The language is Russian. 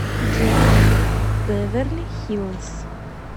джой бэверли хиллз